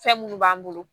Fɛn minnu b'an bolo